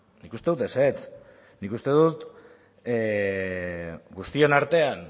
nik uste dut ezetz nik uste dut guztien artean